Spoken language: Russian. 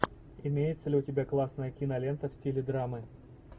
имеется ли у тебя классная кинолента в стиле драмы